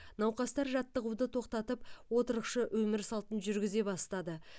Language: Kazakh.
науқастар жаттығуды тоқтатып отырықшы өмір салтын жүргізе бастады